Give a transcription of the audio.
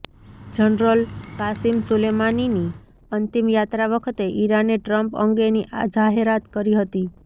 general Qasem સુલેમાનીની અંતિમ યાત્રા વખતે ઈરાને ટ્રમ્પ અંગેની આ જાહેરાત કરી હતી